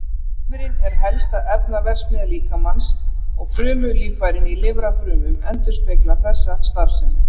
Lifrin er helsta efnaverksmiðja líkamans og frumulíffærin í lifrarfrumum endurspeglar þessa starfsemi.